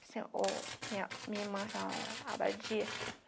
assim, ou minha minha chamava abadia